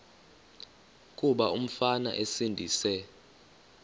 kuba umfana esindise